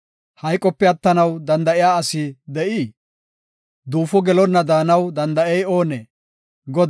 Hayqope attanaw danda7iya asi de7ii? Duufo gelonna daanaw danda7ey oonee? Salaha